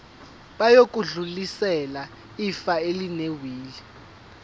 bayodlulisela ifa elinewili